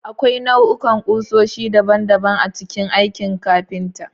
Akwai nau'ikan kusoshi daban-daban a cikin aikin kafinta.